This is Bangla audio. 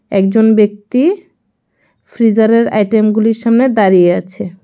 একজন ব্যক্তি ফ্রিজারের আইটেমগুলির সামনে দাঁড়িয়ে আছে.